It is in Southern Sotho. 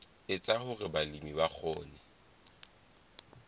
etsa hore balemi ba kgone